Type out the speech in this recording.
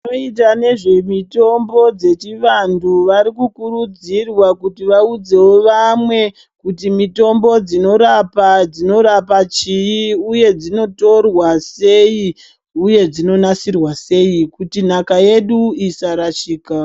Vanoita nezvemitombo dzechivantu varikukurudzirwa kuti vaudzevo vamwe kuti mitombo dzinorapa dzinorapa chii, uye dzinotorwa sei, uye dzinonasirwa sei kuti nhaka yedu isarashika.